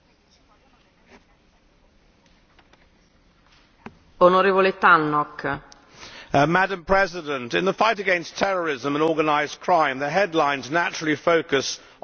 Madam President, in the fight against terrorism and organised crime, the headlines naturally focus on the more sensational and obvious aspects of operations, such as police dawn raids and arrests.